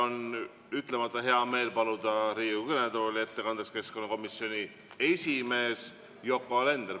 On ütlemata hea meel paluda Riigikogu kõnetooli ettekandeks keskkonnakomisjoni esimees Yoko Alender.